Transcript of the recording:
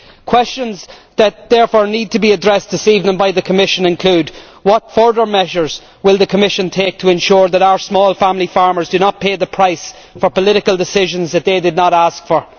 Questions that therefore need to be addressed this evening by the Commission include what further measures will the Commission take to ensure that our small family farmers do not pay the price for political decisions they did not ask for